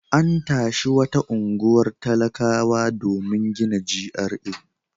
An tashi wata unguwar talakawa domin gina GRA.